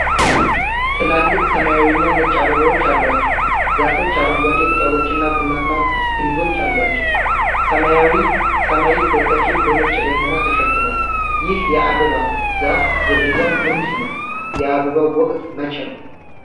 ትላልቅ ሰማያዊና ነጭ አበባዎች አሏቸው ዛፎች አረንጓዴ ቅጠሎችና ቡናማ ግንዶች አሏቸው። ሰማያዊው ሰማይ በከፊል በነጭ ደመና ተሸፍኗል። ይህ የአበባ ዛፍ ዝርያ ምንድን ነው? የአበባው ወቅት መቼ ነው?